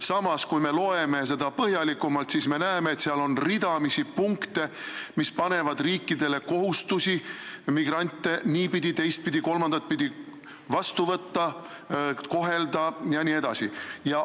Samas, kui me loeme seda põhjalikumalt, siis näeme, et seal on ridamisi punkte, mis panevad riikidele kohustusi migrante nii, teist või kolmandat pidi vastu võtta, kohelda jne.